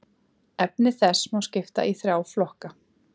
Efni þess má skipta í þrjá flokka.